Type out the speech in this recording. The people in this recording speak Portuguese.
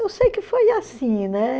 Eu sei que foi assim, né?